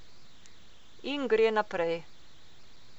In gre naprej.